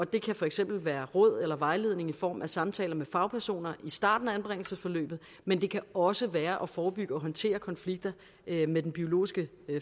det kan for eksempel være råd eller vejledning i form af samtaler med fagpersoner i starten af anbringelsesforløbet men det kan også være løbende at forebygge og håndtere konflikter med den biologiske